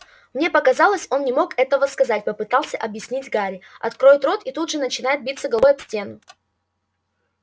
мне показалось он не мог этого сказать попытался объяснить гарри откроет рот и тут же начинает биться головой об стену